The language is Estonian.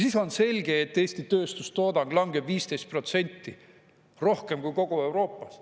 Siis on selge, et Eesti tööstustoodang langeb 15% rohkem kui kogu Euroopas.